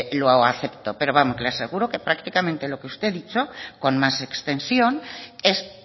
lo acepto pero vamos le aseguro que prácticamente lo que usted ha dicho con más extensión es